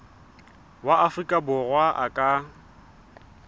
wa afrika borwa a ka